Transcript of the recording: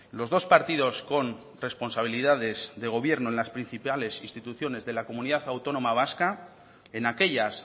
los dos partidos con responsabilidades de gobierno en las principales instituciones de la comunidad autónoma vasca en aquellas